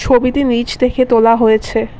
ছবিটি নীচ থেকে তোলা হয়েছে।